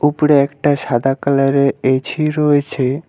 উপরে একটা সাদা কালারের এ_ছি রয়েছে।